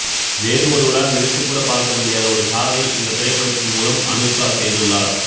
வேறு ஒருவரால் நினைத்துக்கூட பார்க்க முடியாத ஒரு சாதனையை இந்த திரைப்படத்தின் மூலம் அனுஷ்கா செய்துள்ளார்